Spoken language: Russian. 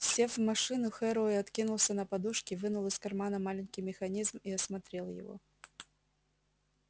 сев в машину херроуэй откинулся на подушки вынул из кармана маленький механизм и осмотрел его